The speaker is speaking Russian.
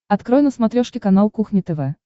открой на смотрешке канал кухня тв